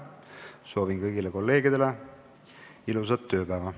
Soovin kõigile kolleegidele ilusat tööpäeva.